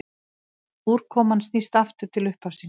Úrkoman snýr aftur til upphafsins.